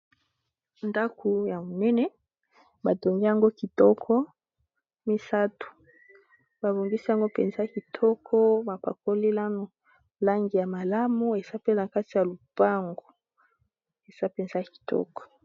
Ndako ya monene batongi yango kitoko misato, babongisi yango mpenza kitoko ba pakoli langi ya malamu eza pe nakati ya lopango, eza mpenza kitoko.